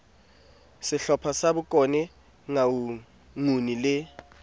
sehlopha sa bokone nguni le